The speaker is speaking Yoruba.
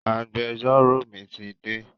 Agbẹjọ́rò mi ti dé